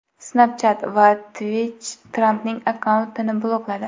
Snapchat va Twitch Trampning akkauntini blokladi.